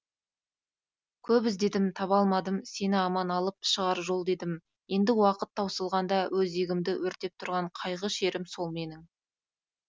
көп іздедім таба алмадым сені аман алып шығар жол дедім енді уақыт таусылғанда өзегімді өртеп тұрған қайғы шерім сол менің